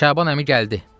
Şaban əmi gəldi.